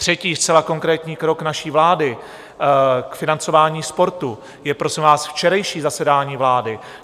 Třetí zcela konkrétní krok naší vlády k financování sportu je prosím vás včerejší zasedání vlády.